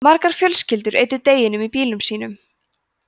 margar fjölskyldur eyddu deginum í bílum sínum